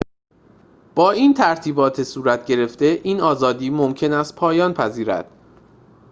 با این ترتیبات صورت‌گرفته این آزادی ممکن است پایان پذیرد